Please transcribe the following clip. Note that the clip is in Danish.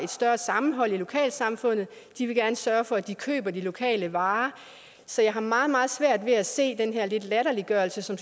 større sammenhold i lokalsamfundet de vil gerne sørge for at de køber de lokale varer så jeg har meget meget svært ved at se den her lidt latterliggørelse